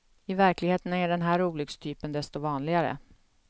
I verkligheten är den här olyckstypen desto vanligare.